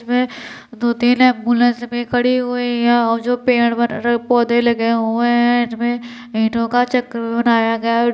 इसमें दो तीन एम्बुलेंस भी खड़ी हुई है वो जो पेड़ ब पौधे लगे हुए हैं इनमें ईटों का चक्रवियुह बनाया गया है ओ --